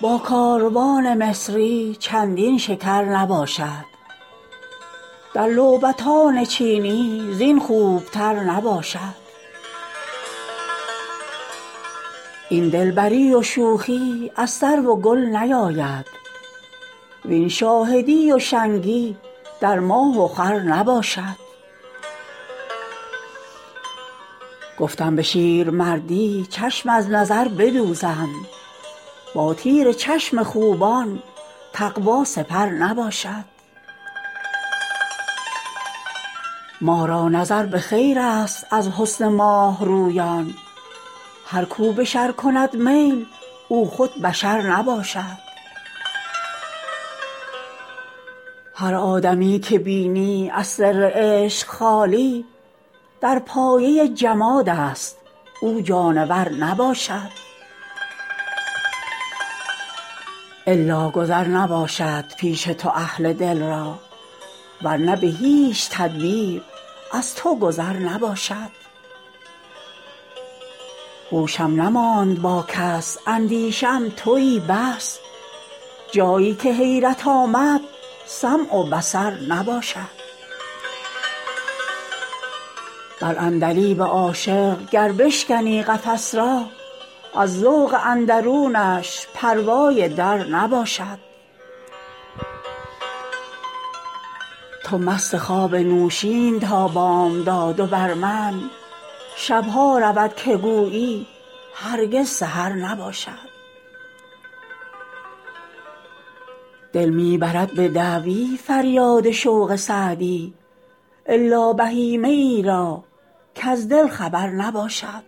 با کاروان مصری چندین شکر نباشد در لعبتان چینی زین خوبتر نباشد این دلبری و شوخی از سرو و گل نیاید وین شاهدی و شنگی در ماه و خور نباشد گفتم به شیرمردی چشم از نظر بدوزم با تیر چشم خوبان تقوا سپر نباشد ما را نظر به خیرست از حسن ماه رویان هر کو به شر کند میل او خود بشر نباشد هر آدمی که بینی از سر عشق خالی در پایه جمادست او جانور نباشد الا گذر نباشد پیش تو اهل دل را ور نه به هیچ تدبیر از تو گذر نباشد هوشم نماند با کس اندیشه ام تویی بس جایی که حیرت آمد سمع و بصر نباشد بر عندلیب عاشق گر بشکنی قفس را از ذوق اندرونش پروای در نباشد تو مست خواب نوشین تا بامداد و بر من شب ها رود که گویی هرگز سحر نباشد دل می برد به دعوی فریاد شوق سعدی الا بهیمه ای را کز دل خبر نباشد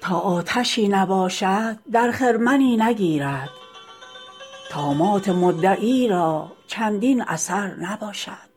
تا آتشی نباشد در خرمنی نگیرد طامات مدعی را چندین اثر نباشد